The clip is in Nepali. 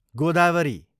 गोदावरी